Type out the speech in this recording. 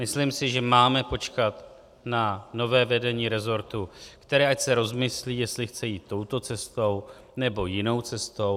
Myslím si, že máme počkat na nové vedení resortu, které ať se rozmyslí, jestli chce jít touto cestou, nebo jinou cestou.